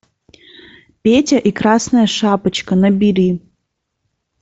петя и красная шапочка набери